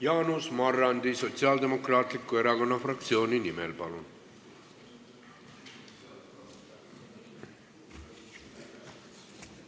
Jaanus Marrandi Sotsiaaldemokraatliku Erakonna fraktsiooni nimel, palun!